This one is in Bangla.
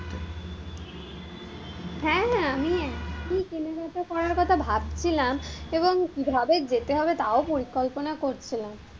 হ্যাঁ হ্যাঁ, আমি কেনাকাটা করার কথা ভাবছিলাম এবং কিভাবে যেতে হবে তাও পরিকল্পনা করছিলাম,